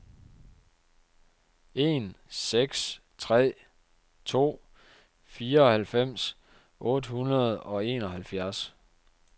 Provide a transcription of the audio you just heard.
en seks tre to fireoghalvfems otte hundrede og enoghalvfjerds